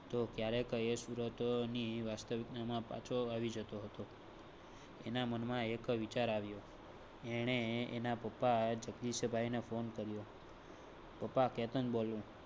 તો ક્યારે કરેં? સુરત ને વાસ્તવિકતા માં પાછો આવી જતો હતો. એના મન માં એક વિચાર આવ્યો. એણે એના પપ્પા આ જગદીશભાઈ ને phone કર્યો. પપ્પા કેતન બોલો